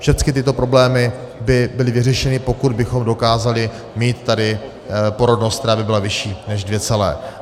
Všechny tyto problémy by byly vyřešeny, pokud bychom dokázali mít tady porodnost, která by byla vyšší než dvě celé.